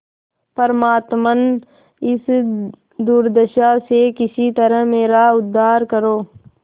परमात्मन इस दुर्दशा से किसी तरह मेरा उद्धार करो